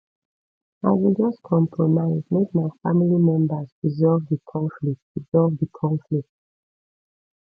i go just compromise make my family members resolve di conflict resolve di conflict